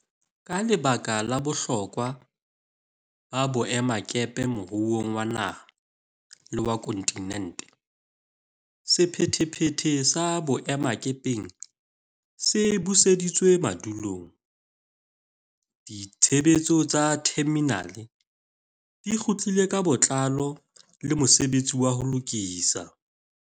Ka lebaka la bohlokwa ba boemakepe moruong wa naha le wa kontinente, sephethephethe sa boemakepeng se buseditswe madulong, ditshebetso tsa theminale di kgutlile ka botlalo le mosebetsi wa ho lokisa